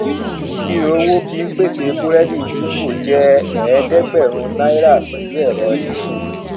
ìṣirò owó fí n pèsè burẹdi jumbo je eedegberin náírà pẹlu ẹrọ disu